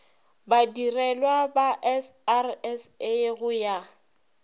badirelwa ba srsa go ya